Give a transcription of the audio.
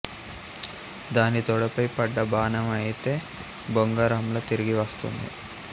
దాని తొడపై పడ్డ బాణాం అయితే బొంగరంలా తిరిగి వస్తుంది